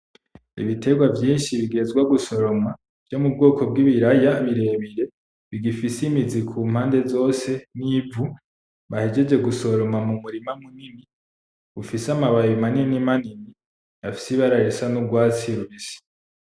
Ibiterwa vyinshi bigihezwa gusoroma vyo mu bwoko bw'ibiraya birebire, bigifise imizi ku mpande zose n'ivu bahejeje gusoroma mu murima munini ufise amababi manini manini afise ibara risa n'urwatsi rubisi.